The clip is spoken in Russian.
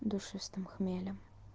душистым хмелем